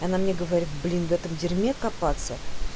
она мне говорит блин этом в дерьме копаться